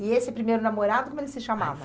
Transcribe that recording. E esse primeiro namorado, como ele se chamava?